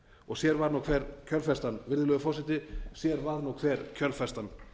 og sér var nú hver kjölfestan virðulegur forseti sér var nú hver kjölfestan